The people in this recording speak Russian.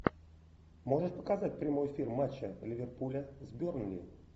можешь показать прямой эфир матча ливерпуля с бернли